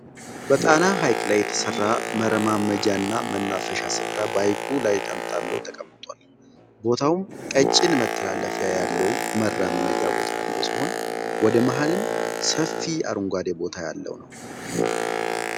በጣና ሃይቅ ላይ የተሰራ መረማመጃ እና መናፈሻ ስፍራ በሃይቁ ላይ ተንጣሎ ተቀምጧል። ቦታውም ቀጭን መተላለፊያ ያለው መራመጃ ቦታ ያለው ሲሆን ወደ መሃልም ሰፊ አረንጓዴ ቦታ ያለው ነው።